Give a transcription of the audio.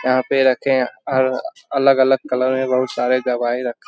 यहाँ पे रखे और अलग-अलग कलर में बहुत सारे दवाई रख --